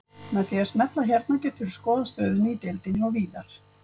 Með því að smella hérna geturðu skoðað stöðuna í deildinni og víðar.